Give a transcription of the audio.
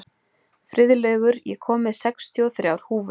Friðlaugur, ég kom með sextíu og þrjár húfur!